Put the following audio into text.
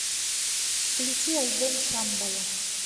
включи альбом шамбала